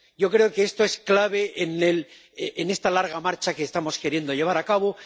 Yo creo que esto es clave en esta larga marcha que estamos queriendo llevar a cabo.